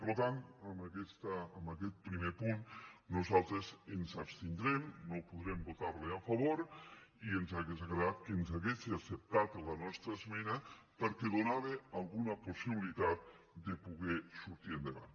per tant en aquest primer punt nosaltres ens abstin·drem no podrem votar·li a favor i ens hauria agradat que ens hagués acceptat la nostra esmena perquè do·nava alguna possibilitat de poder sortir endavant